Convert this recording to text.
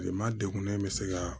Kilema degunnen bɛ se ka